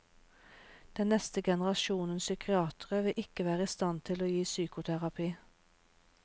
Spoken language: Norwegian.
Den neste generasjonen psykiatere vil ikke være i stand til å gi psykoterapi.